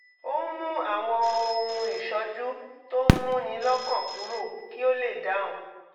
ó ń mú àwọn ohun ìṣójú tó ń múni lọ́kàn kúrò kí ó lè dáhùn